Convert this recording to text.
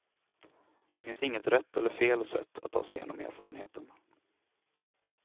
Det finns inget rätt eller fel sätt att ta sig igenom erfarenheten.